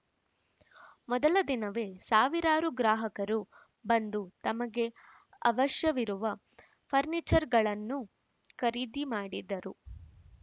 ಮೊದಲ ದಿನವೇ ಸಾವಿರಾರು ಗ್ರಾಹಕರು ಬಂದು ತಮಗೆ ಅವಶ್ಯವಿರುವ ಫರ್ನಿಚರ್‌ಗಳನ್ನು ಖರೀದಿ ಮಾಡಿದರು